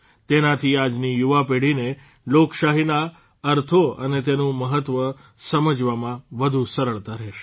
તેનાથી આજની યુવા પેઢીને લોકશાહીના અર્થો અને તેનું મહત્વ સમજવામાં વધુ સરળતા રહેશે